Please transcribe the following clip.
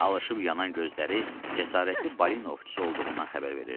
Alışıb yanan gözləri cəsarətli balinovçusu olduğundan xəbər verirdi.